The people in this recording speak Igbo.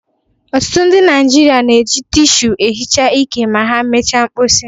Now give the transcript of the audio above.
Ọtụtụ ndị Naịjirịa na-eji tịshu ehicha ike ma ha mechaa mkposi.